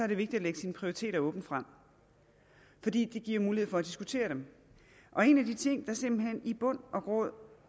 det vigtigt at lægge sine prioriteter åbent frem fordi det giver mulighed for at diskutere dem en af de ting der i bund og grund